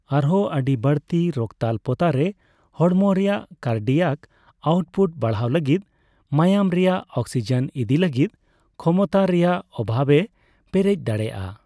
ᱟᱨᱦᱚᱸ ᱟᱹᱰᱤ ᱵᱟᱹᱲᱛᱤ ᱨᱚᱠᱛᱟᱞᱯᱚᱛᱟ ᱨᱮ, ᱦᱚᱲᱢᱚ ᱨᱮᱭᱟᱜ ᱠᱟᱨᱰᱤᱭᱟᱠ ᱟᱣᱩᱴᱼᱯᱩᱴ ᱵᱟᱲᱦᱟᱣ ᱞᱟᱹᱜᱤᱫ ᱢᱟᱭᱟᱢ ᱨᱮᱭᱟᱜ ᱚᱠᱥᱤᱡᱮᱱ ᱤᱫᱤᱭ ᱞᱟᱹᱜᱤᱫ ᱠᱷᱚᱢᱚᱛᱟ ᱨᱮᱭᱟᱜ ᱚᱵᱷᱟᱵᱮ ᱯᱮᱨᱮᱡ ᱫᱟᱲᱮᱭᱟᱜᱼᱟ᱾